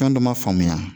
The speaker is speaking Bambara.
Fɛn dɔ ma faamuya